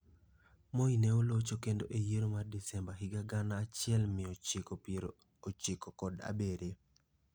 Moi ne olocho kendo e yiero mar Desemba higa gana achiel mia ochiko piero ochiko kod abiriyo.